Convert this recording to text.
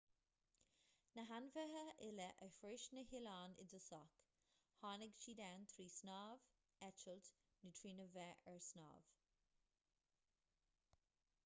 na hainmhithe uile a shroich na hoileáin i dtosach tháinig siad ann trí shnámh eitilt nó trína bheith ar snámh